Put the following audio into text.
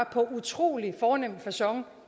på utrolig fornem facon